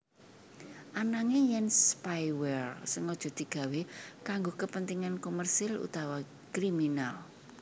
Ananging yèn spyware sengaja digawé kanggo kapentingan komersil utawa kriminal